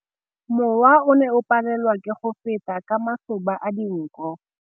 Mowa o ne o palelwa ke go feta ka masoba a dinko.